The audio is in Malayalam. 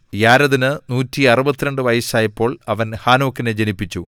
യാരെദിന് 162 വയസ്സായപ്പോൾ അവൻ ഹാനോക്കിനെ ജനിപ്പിച്ചു